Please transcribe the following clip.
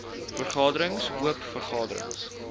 vergaderings oop vergaderings